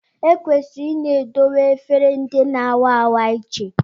Ekwesịrị ịna edowe efere ndị na-a wa awa iche